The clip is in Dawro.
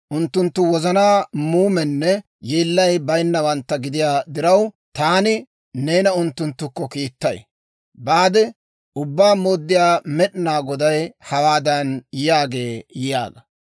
Unttunttu wozana muumenne yeellay baynnawantta gidiyaa diraw, taani neena unttunttukko kiittay. Baade, ‹Ubbaa Mooddiyaa Med'inaa Goday hawaadan yaagee› yaaga.